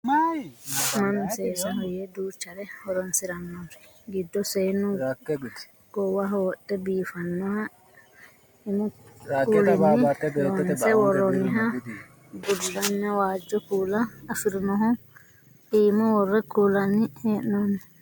mannu seesaho yee duuchare horonsirannori giddo seennu goowaho wodhe biifannoha lmu kuulinni loonse worroonniha bullanna waajjo kuula afirinohu iima worre kullanni hee'noonni